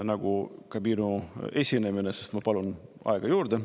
Nagu ka minu esinemine, sest ma palun aega juurde.